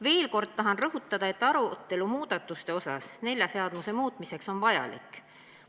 Veel kord tahan rõhutada, et arutelu nelja seaduse muutmise üle on vajalik.